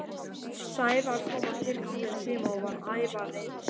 Sævar kom á tilsettum tíma og var ævareiður.